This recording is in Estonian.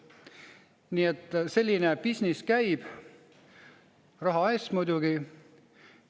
Nii et selline business käib, raha eest muidugi.